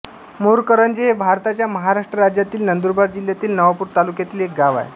मोरकरंजे हे भारताच्या महाराष्ट्र राज्यातील नंदुरबार जिल्ह्यातील नवापूर तालुक्यातील एक गाव आहे